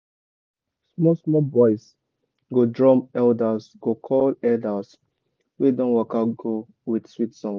small small boys go drum elders go call elders wey don waka go with sweet song.